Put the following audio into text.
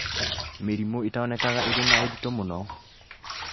Mĩrimũ ĩtonekaga ĩrĩ na ũritũ mũno